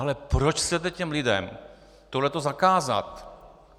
Ale proč chcete těm lidem tohle zakázat?